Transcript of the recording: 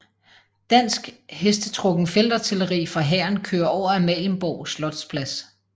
Dansk hestetrukken feltartilleri fra hæren kører over Amalienborg slotsplads